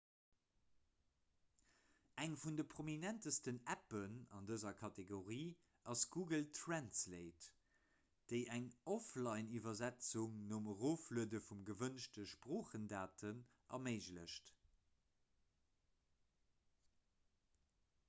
eng vun de prominentsten appen an dëser kategorie ass google translate déi eng offlineiwwersetzung nom erofluede vun de gewënschte sproochdaten erméiglecht